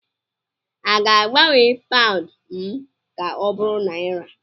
a ga-agbanwe paụnd m ka ọ bụrụ naira